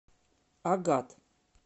агат